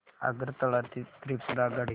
आगरतळा ते त्रिपुरा आगगाडी